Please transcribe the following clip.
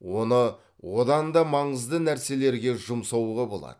оны одан да маңызды нәрселерге жұмсауға болады